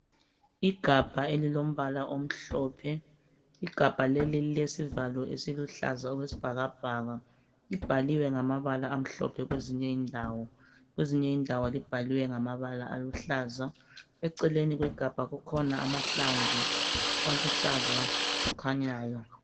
Igamba elilombala omhlophe ,igabha leli lilesivalo esiluhlaza okwesibhakabhaka libhaliwe ngamabala amhlophe kwezinye indawo , kwezinye indawo libhaliwe ngamabala aluhlaza , eceleni kwegabha kukhona amahlamvu aluhlaza akhanyayo.